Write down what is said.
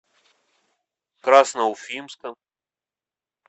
красноуфимском